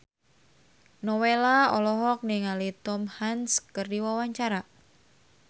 Nowela olohok ningali Tom Hanks keur diwawancara